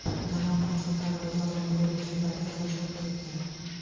Jamoat transportlari bozorning turli burchaklariga sochilib ketgan.